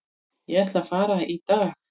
Ég ætla að fara í dag.